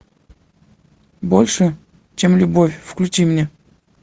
больше чем любовь включи мне